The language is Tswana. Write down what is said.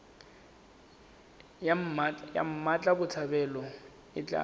ya mmatla botshabelo e tla